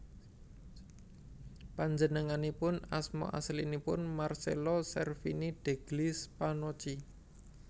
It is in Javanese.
Panjenenganipun asma aslinipun Marcello Cervini degli Spannochi